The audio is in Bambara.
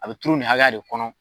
A be turu nin hakɛya de kɔnɔ